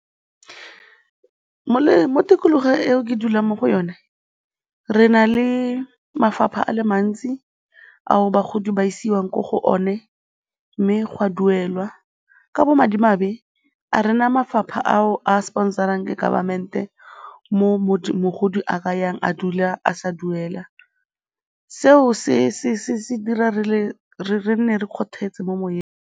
Mo tikologong eo ke dulang mo go yone re na le mafapha a le mantsi ao bagodi ba isiwang ko go one mme ga duelwa. Ka bomadimabe, ga re na mafapha ao a sponsor-rang ke government-e moo mogodi a ka yang a dula a sa duela, seo se dira gore re nne re kgothetse mo moyeng.